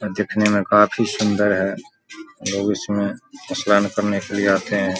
और दिखने में काफी सुन्दर है लोग इसमें स्नान करने के लिए आते हैं।